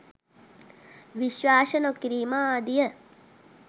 විශ්වාස නොකිරීම ආදිය